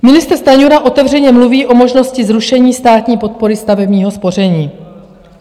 Ministr Stanjura otevřeně mluví o možnosti zrušení státní podpory stavebního spoření.